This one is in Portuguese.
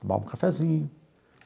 Tomava um cafezinho.